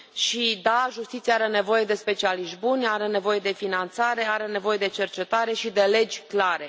Și da, justiția are nevoie de specialiști buni, are nevoie de finanțare, are nevoie de cercetare și de legi clare.